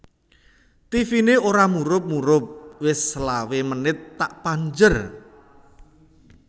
Tivine ora murup murup wis selawe menit tak panjer